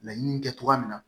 Laɲini kɛ cogoya min na